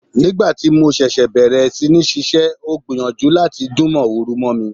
Nígbà tí mo ṣẹ̀ṣẹ̀ bẹ̀rẹ̀ sí ní ṣiṣẹ́, ó gbìyànjú láti dún mọ̀húrú mọ́ mi.